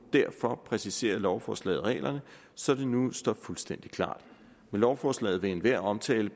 derfor præciserer lovforslaget reglerne så det nu står fuldstændig klart med lovforslaget vil enhver omtale